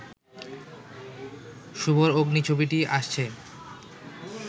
শুভর 'অগ্নি' ছবিটি আসছে